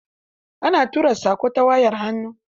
Ana tura saƙo ta wayar hannu.